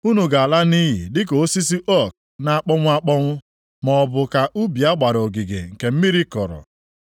Unu ga-ala nʼiyi dịka osisi ook na-akpọnwụ akpọnwụ maọbụ ka ubi a gbara ogige nke mmiri kọrọ.